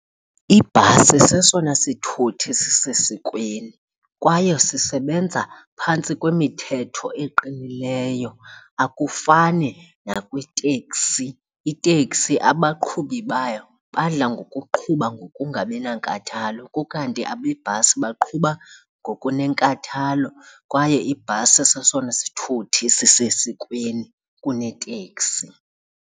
Ibhasi sesona sithuthi sisesikweni kwaye sisebenza phantsi kwemithetho eqinileyo, akufani nakwiteksi. Iteksi abaqhubi bayo badla ngokuqhuba ngokungabi nankathalo kukanti abebhasi baqhuba ngokunenkathalo kwaye ibhasi sesona sithuthi esisesikweni kuneteksi.